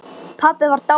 Pabbi var dáinn.